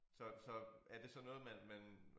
Så så er det så noget man man